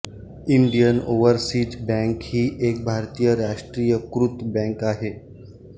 Indian overseas bank ही एक भारतीय राष्ट्रीयीकृत बँक आहे